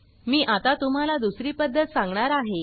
मी आता तुम्हाला दुसरी पद्धत सांगणार आहे